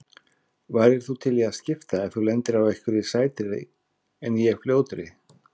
Værir þú til í að skipta ef þú lendir á einhverri sætri en ég ljótri?